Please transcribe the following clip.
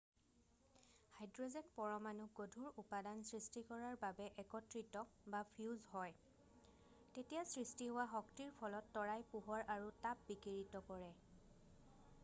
Hydrogen পৰমাণুক গধুৰ উপাদান সৃষ্টি কৰাৰ বাবে একত্ৰিত বা ফিউজ হয় তেতিয়া সৃষ্টি হোৱা শক্তিৰ ফলত তৰাই পোহৰ আৰু তাপ বিকিৰিত কৰে।